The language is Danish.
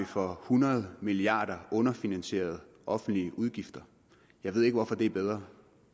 for hundrede milliarder underfinansierede offentlige udgifter jeg ved ikke hvorfor det er bedre